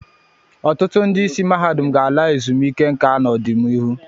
Ọtụtụ ndị isi mahadum ga-ala ezumike nka n'ọdịnihu.